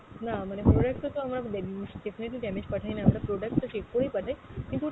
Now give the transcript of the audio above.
না মানে product টা তো আমরা definitely damage পাঠাই না আমরা, product তো check করেই পাঠাই, কিন্তু